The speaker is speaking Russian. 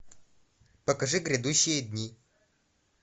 покажи грядущие дни